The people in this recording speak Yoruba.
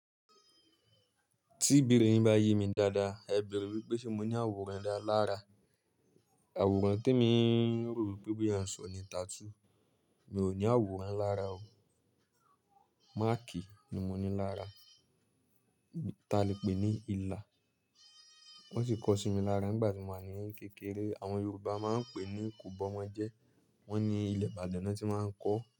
Tí ibere bá ye mi dáadáa, ẹ bẹ̀rù wípé ṣe mo ní àwòrán dá lára. Àwòrán tí mo rò wípé à ń sọ ni tattoo. Mi ò ní àwòrán lára o. Márkì ni mo ní lára, ta lè pè ní ilà. Wón sì kọ sí mi lára nígbà tí mo wà ní ẹ̀yín kékeré. Àwọn Yorùbá máa ń pè ní kòbọ́mọjẹ́. Wón ní ilẹ̀ Ìbàdàn ni wón ti máa ń kọ.